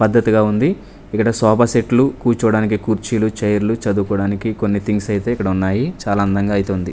పద్ధతిగా ఉంది ఇక్కడ సోఫా సెట్లు కూర్చోడానికి కుర్చీలు చైర్లు చదువుకోడానికి కొన్ని థింగ్స్ అయితే ఇక్కడ ఉన్నాయి చాలా అందంగా అయితే ఉంది.